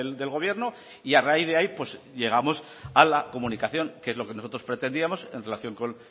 del gobierno y a raíz de ahí llegamos a la comunicación que es lo que nosotros pretendíamos en relación con